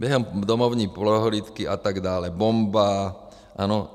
Během domovní prohlídky atd... bomba, ano.